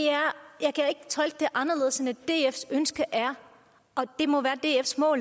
anderledes end at dfs ønske er og det må